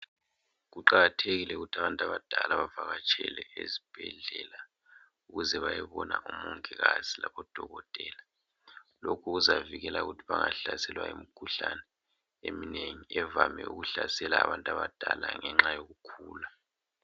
Kuqakathekile ukuthi abantu abadala bavakatshele ezibhedlela, ukuze bayobona umongikazi labodokotela. Lokhu kuzavikela ukuthi bangahlaselwa yimikhuhlane eminengi evame ukuhlasela abantu abadala ngenxa yokukhula.